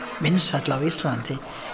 vinsæll á Íslandi